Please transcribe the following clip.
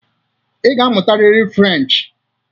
Ị ga-amụtarịrị Frenchị!